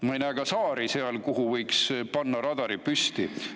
Ma ei näe seal ka saari, kuhu võiks radari püsti panna.